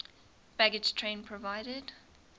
baggage train provided